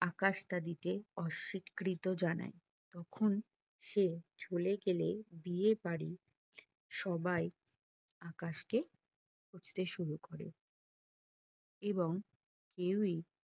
আকাশ তা দিতে অস্বীকৃত জানাই তখন সে চলে গেলে বিয়ে বাড়ি সবাই আকাশকে খুঁজতে শুরু করে এবং কেওই